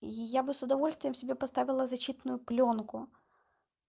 я бы с удовольствием себе поставила защитную плёнку